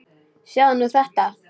Sjáðu nú þetta!